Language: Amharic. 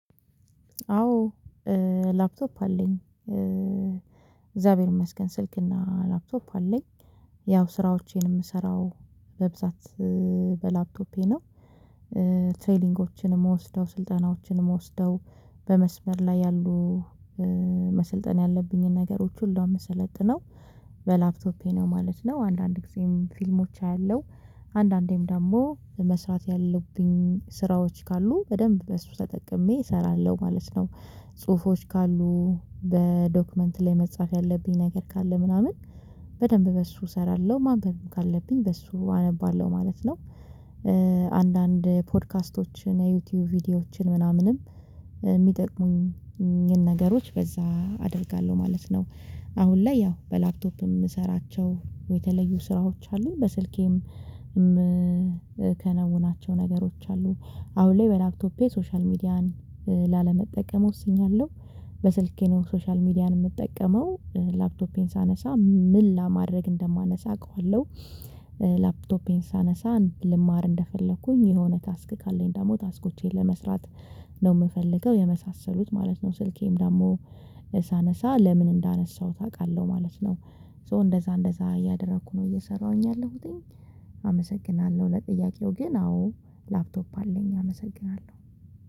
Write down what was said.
አዎ ላፕቶፕ አለኝ እግዚአብሔር ይመስገን ስልክና ላፕቶፕ አለኝ። ያው ስራዎቼን የምሰራው በብዛት በላፕቶፔ ነው። ትሬሊንጎችን መወስደው ስልጠናዎችን መወስደው በመስመር ላይ ያሉ መሰልጠን ያለብኝን ነገሮች ሁሉ የምሰለጥነው በላፕቶፔ ነው ማለት ነው። አንዳንድ ጊዜም ፊልሞች አያለው አንዳንዴም ደግሞ መስራት ያለብኝ ስራዎች ካሉ በደንብ በሱ ተጠቅሜ እሰራለሁ ማለት ነው። ጽሁፎች ካሉ በዶክመንት ላይ መጻፍ ያለብኝ ነገር ካለ ምናምን በደንብ በሱ እሰራለሁ ማንበብም ካለብኝ በእሱ አነባለሁ ማለት ነው። አንዳንድ ፖድካስቶችን የዩቲዩብ ቪዲዮዎችን ምናምንም የሚጠቅሙኝን ነገሮች በዛ አደርጋለሁ ማለት ነው። አሁን ላይ ያው በላፕቶፕም እሰራቸው የተለዩ ስራዎች አሉኝ በስልኬም። ከነውናቸው ነገሮች አሉ አሁን ላይ በላክቶፔ ሶሻል ሚዲያን ላለመጠቀም ወስኛለሁ። በስልኬ ነው ሶሻል ሚዲያ የምጠቀመው ላፕቶፔን ሳነሳ ምን ለማድረግ እንደማነሳ አውቃለሁ። ላፕቶፔን ሳነሳ ልማር እንደፈለኩኝ የሆነ ታስክ ካለኝ ደግሞ ታስኮቼን ለመስራት ነው የምፈልገው የመሳሰሉት ማለት ነው። ስልኬም ደግሞ ሳነሳ ለምን እንዳነሳሁት አውቃለሁ ማለት ነው። ሶ እንደዛ እንደዛ ያደረኩ ነው እየሰራሁኝ ያለሁትኝ። አመሰግናለሁ ለጥያቄው ግን አዎ ላፕቶፕ አለኝ አመሰግናለሁ።